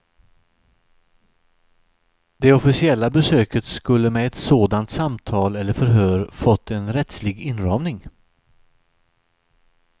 Det officiella besöket skulle med ett sådant samtal eller förhör fått en rättslig inramning.